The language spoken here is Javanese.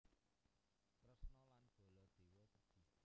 Kresna lan Baladewa sedhih